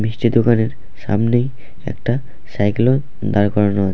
মিষ্টি দোকানের সামনেই একটা সাইকেল ও দাঁড় করানো আ--